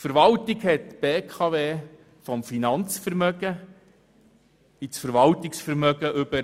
Die Verwaltung hat die Beteiligung an der BKW vom Finanzvermögen ins Verwaltungsvermögen übertragen.